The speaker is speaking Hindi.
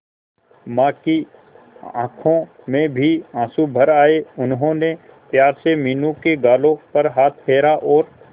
मां की आंखों में भी आंसू भर आए उन्होंने प्यार से मीनू के गालों पर हाथ फेरा और